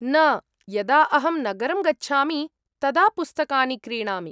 न, यदा अहं नगरं गच्छामि तदा पुस्तकानि क्रीणामि।